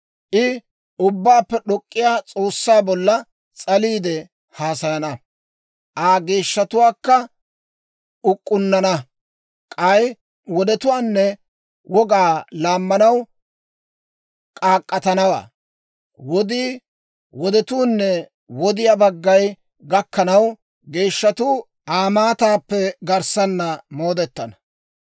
I Ubbaappe d'ok'k'iyaa S'oossaa bolla s'aliide haasayana; Aa geeshshatuwaakka uk'k'unnana. K'ay wodetuwaanne wogaa laammanaw k'aak'k'atanawaa. Wodii, wodetuunne wodiyaa baggay gakkanaw geeshshatuu Aa maataappe garssana moodetana.